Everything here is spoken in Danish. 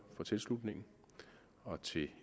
for tilslutningen og til